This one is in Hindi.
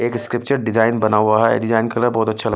एक स्क्रिप्चर डिजाइन बना हुआ है डिजाइन कलर बहुत अच्छा लगा--